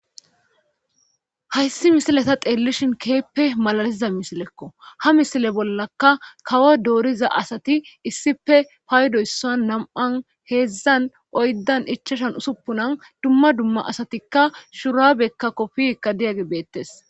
Hayssi misileta xeellishin keeppe malaliza misilekko ha misile bollaka kawo dooriza asati issife paydoyssan nam7an heedzdzan oyddan ichashan usuppunan dumma dumma asatikka shurabekka kofikka diyagge beettes.